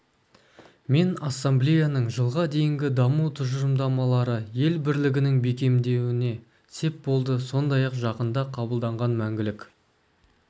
мен ассамблеяның жылға дейінгі даму тұжырымдамалары ел бірлігінің бекемдеуіне сеп болды сондай-ақ жақында қабылданған мәңгілік